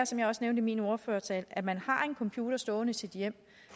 som jeg også nævnte i min ordførertale at man har en computer stående i sit hjem